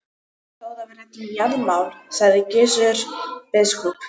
Til stóð að við ræddum jarðamál, sagði Gizur biskup.